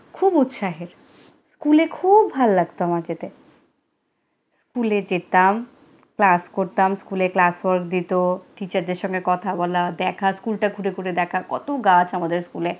খুব উৎসাহের। স্কুলে খুব ভাল লাগতো আমার যেতে লে যেতাম, ক্লাস করতাম। স্কুলে class work দিতো teachers দের সঙ্গে কথা বলা, দেখা, স্কুলটা ঘুরে ঘুরে দেখা, কত গাছ আমাদের স্কুলে।